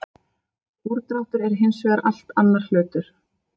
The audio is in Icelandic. Úrdráttur er hins vegar allt annar hlutur.